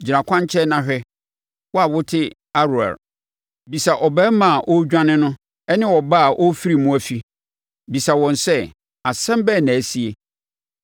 Gyina kwankyɛn na hwɛ, wo a wote Aroer. Bisa ɔbarima a ɔredwane no ne ɔbaa a ɔrefiri mu afi, bisa wɔn sɛ, ‘Asɛm bɛn na asie?’